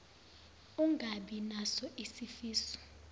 ungabi naso isifiso